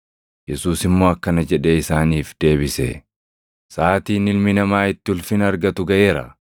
Yesuus immoo akkana jedhee isaaniif deebise; “Saʼaatiin Ilmi Namaa itti ulfina argatu gaʼeera.